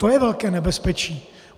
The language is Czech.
To je velké nebezpečí.